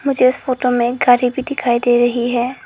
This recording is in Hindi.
मुझे इस फोटो में गाड़ी भी दिखाई दे रही है।